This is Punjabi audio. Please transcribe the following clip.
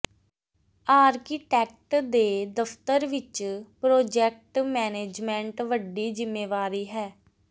ਆਰਕੀਟੈਕਟ ਦੇ ਦਫ਼ਤਰ ਵਿਚ ਪ੍ਰੋਜੈਕਟ ਮੈਨੇਜਮੈਂਟ ਵੱਡੀ ਜ਼ਿੰਮੇਵਾਰੀ ਹੈ